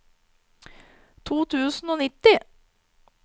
to tusen og nitti